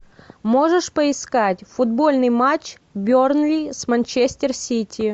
можешь поискать футбольный матч бернли с манчестер сити